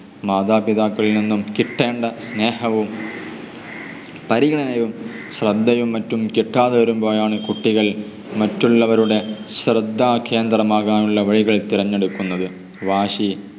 മാതാപിതാക്കളിൽ നിന്ന് കിട്ടേണ്ട സ്നേഹവും പരിഗണനയും ശ്രദ്ധയും മറ്റും കിട്ടാതെ വരുമ്പോളാണ് കുട്ടികൾ മറ്റുള്ളവരുടെ ശ്രദ്ധ കേന്ദ്രമാകാനുള്ള വഴി തിരഞ്ഞെടുക്കുന്നത്. വാശി